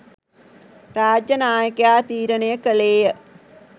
රාජ්‍ය නායකයා තීරණය කළේය.